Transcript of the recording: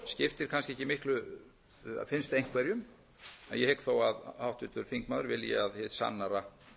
skiptir kannski ekki miklu finnst einhverjum en ég hygg þó að háttvirtur þingmaður vilji að hið sannara